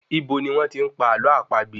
Ibo ní wọ́n tí n pa àlọ́ àpagbè?